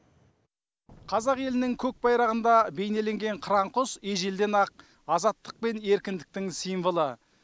қазақ елінің көкбайрағында бейнеленген қыран құс ежелден ақ азаттық пен еркіндіктің символы